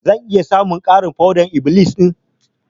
Zan iya samun ƙarin foɗar-iblis ɗin?